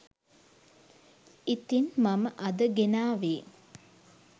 ඉතිං මම අද ගෙනාවේ